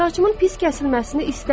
Saçımın pis kəsilməsini istəmirəm.